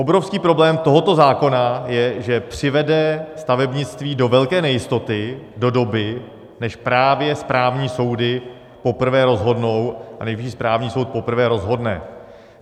Obrovský problém tohoto zákona je, že přivede stavebnictví do velké nejistoty do doby, než právě správní soudy poprvé rozhodnou a Nejvyšší správní soud poprvé rozhodne.